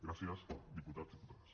gràcies diputats diputades